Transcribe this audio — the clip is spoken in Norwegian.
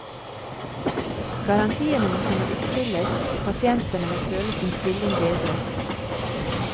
Garantiene må kunne oppfylles, pasientene må føle sin stilling bedret.